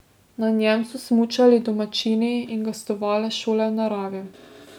Na njem so smučali domačini in gostovale šole v naravi.